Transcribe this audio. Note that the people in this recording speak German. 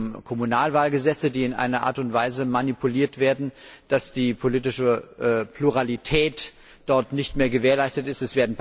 Da geht es um Kommunalwahlgesetze, die in einer Art und Weise manipuliert werden, dass die politische Pluralität nicht mehr gewährleistet ist.